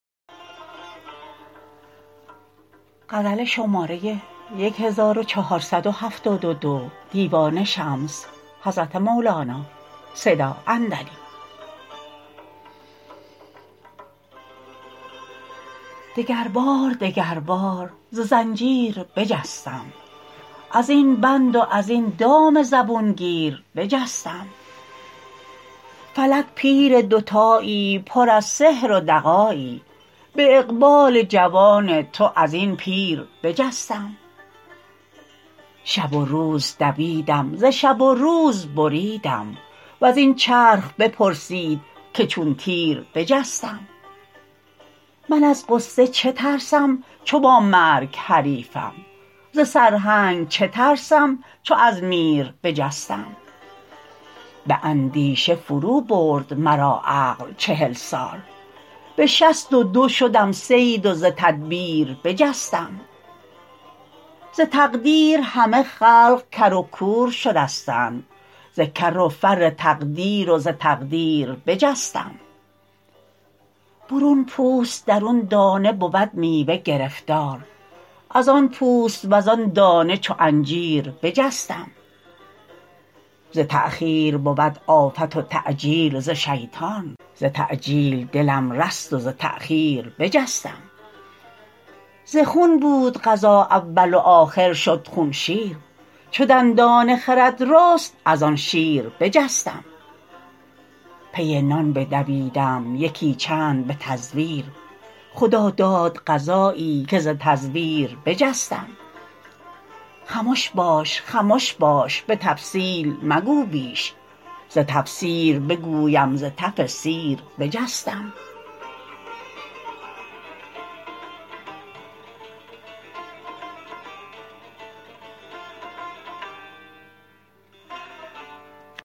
دگربار دگربار ز زنجیر بجستم از این بند و از این دام زبون گیر بجستم فلک پیر دوتایی پر از سحر و دغایی به اقبال جوان تو از این پیر بجستم شب و روز دویدم ز شب و روز بریدم و زین چرخ بپرسید که چون تیر بجستم من از غصه چه ترسم چو با مرگ حریفم ز سرهنگ چه ترسم چو از میر بجستم به اندیشه فروبرد مرا عقل چهل سال به شصت و دو شدم صید و ز تدبیر بجستم ز تقدیر همه خلق کر و کور شدستند ز کر و فر تقدیر و ز تقدیر بجستم برون پوست درون دانه بود میوه گرفتار ازان پوست وزان دانه چو انجیر بجستم ز تأخیر بود آفت و تعجیل ز شیطان ز تعجیل دلم رست و ز تأخیر بجستم ز خون بود غذا اول و آخر شد خون شیر چو دندان خرد رست از آن شیر بجستم پی نان بدویدم یکی چند به تزویر خدا داد غذایی که ز تزویر بجستم خمش باش خمش باش به تفصیل مگو بیش ز تفسیر بگویم ز تف سیر بجستم